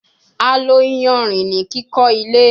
A lo iyanrin ni kiko ile